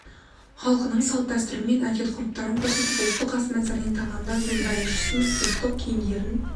халқының салт-дәстүрлері мен әдет-ғұрыптарын көрсетіп ұлттық ас мәсірінене тағамдар зур балиш ұсынып және ұлттық киімдерін